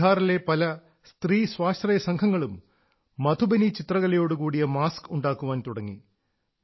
ബിഹാറിലെ പല സ്ത്രീ സ്വാശ്രയസംഘങ്ങളും മധുബനി ചിത്രകലയോടുകൂടിയ മാസ്ക് ഉണ്ടാക്കാൻ തുടങ്ങി